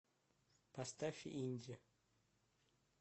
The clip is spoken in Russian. поставь инди